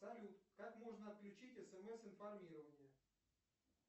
салют как можно отключить смс информирование